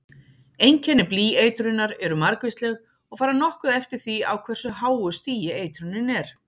Einkenni blýeitrunar eru margvísleg og fara nokkuð eftir því á hversu háu stigi eitrunin er.